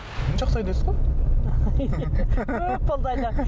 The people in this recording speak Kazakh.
жақсы айдайсыз ғой көп болды